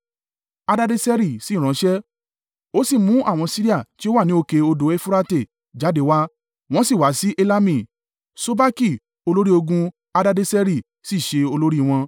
Hadadeseri sì ránṣẹ́, ó sì mú àwọn Siria tí ó wà ní òkè odò Eufurate jáde wá, wọ́n sì wá sí Helami; Sobaki olórí ogun Hadadeseri sì ṣe olórí wọn.